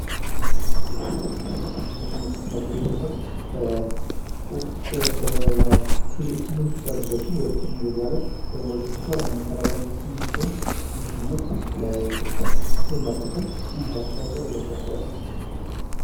የቴክኖሎጂ ትምህርት ይህ ትምህርት በዛ ፊልድ ያሉ ሰዎችን ወደ ቴክኖሎጂው ዓለም ወይም ወደ ዲጂታሉ ዓለም ለመቀላቀል የሚጠቅም ትምህርት ሲሆን ይህ ትምህርት ለኢትዮጵያ ብሎም ለዓለም ምን አስተዋጽኦ አለው ብላችሁ ታስባላችሁ?